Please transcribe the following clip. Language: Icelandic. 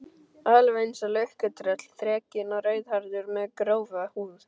Alveg einsog lukkutröll, þrekinn og rauðhærður, með grófa húð.